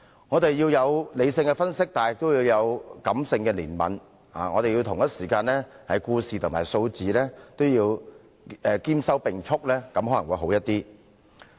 我們需要作理性分析，亦要有感性的憐憫，要對故事和數字兼收並蓄，這樣可能會較好。